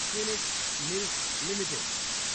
Phoenix Mills Ltd